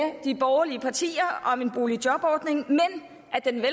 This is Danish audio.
de borgerlige partier om en boligjobordning men den